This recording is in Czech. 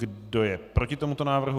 Kdo je proti tomuto návrhu?